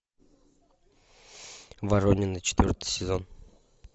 воронины четвертый сезон